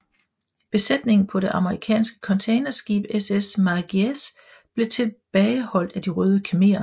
Besætningen på det amerikanske containerskib SS Mayaguez blev tilbageholdt af De Røde Khmerer